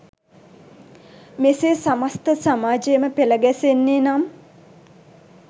මෙසේ සමස්ත සමාජයම පෙළ ගැසෙන්නේ නම්